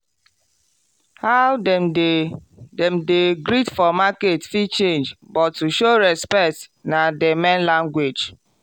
how dem dey dem dey greet for market fit change but to show respect na the main language.